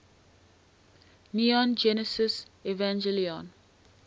neon genesis evangelion